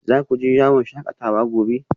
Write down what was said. Za ku je yawon shakatawa gobe?